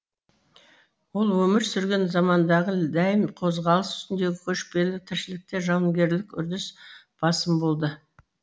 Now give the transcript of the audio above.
ол өмір сүрген замандағы дәйім қозғалыс үстіндегі көшпелі тіршілікте жауынгерлік үрдіс басым болды